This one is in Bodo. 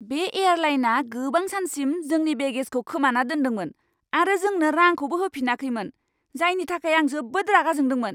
बे एयारलाइना गोबां सानसिम जोंनि बेगेजखौ खोमाना दोन्दोंमोन आरो जोंनो रांखौबो होफिनाखैमोन, जायनि थाखाय आं जोबोद रागा जोंदोंमोन।